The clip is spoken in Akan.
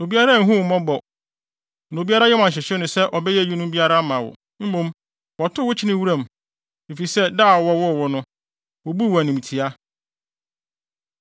Obiara anhu wo mmɔbɔ, na obiara yam anhyehye no sɛ ɔbɛyɛ eyinom biara ama wo. Mmom wɔtow wo kyenee wuram, efisɛ da a wɔwoo wo no, wobuu wo animtiaa.